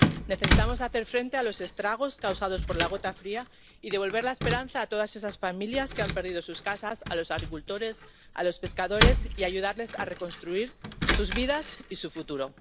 Necesitamos hacer frente a los estragos causados por la gota fría y devolver la esperanza a todas esas familias que han perdido sus casas, a los agricultores y a los pescadores, y ayudarles a reconstruir sus vidas y su futuro.